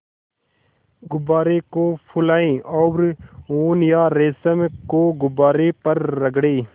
गुब्बारे को फुलाएँ और ऊन या रेशम को गुब्बारे पर रगड़ें